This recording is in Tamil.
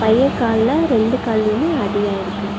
பைய கால்ல ரெண்டு கால்யுமே அடி ஆயிருக்கு.